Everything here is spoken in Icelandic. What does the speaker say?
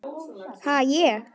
Ha, ég?